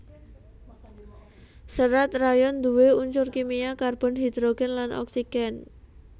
Serat rayon duwé unsur kimia karbon hidrogen lan oksigen